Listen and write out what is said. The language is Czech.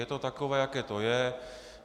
Je to takové, jaké to je.